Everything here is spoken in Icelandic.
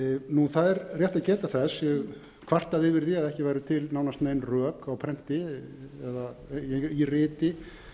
stofnunar það er rétt að geta þess ég hef kvartað yfir því að ekki væru til nánast nein rök á prenti eða í riti